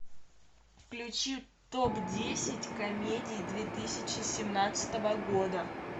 включи топ десять комедий две тысячи семнадцатого года